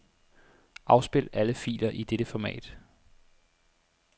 Afspil alle filer i dette format.